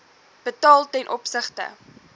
betaal ten opsigte